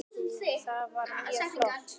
Það var mjög flott.